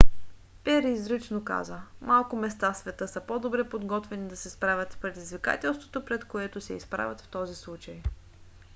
пери изрично каза: малко места в света са по-добре подготвени да се справят с предизвикателството пред което се изправят в този случай.